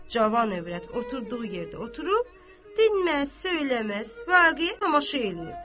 Cavan övrət oturduğu yerdə oturub, dinməz, söyləməz, vaqe tamaşa eləyirdi.